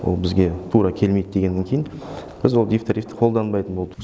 ол бізге тура келмейді дегеннен кейін біз ол дифтарифті қолданбайтын болдық